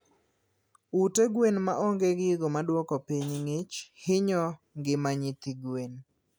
Ute gwen maonge gigo maduoko piny ngich hinyo ngima nyithi gwen